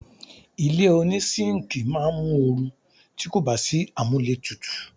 Ilé oní síńkì máa mu oru ti kò bá sí amúlé tutù.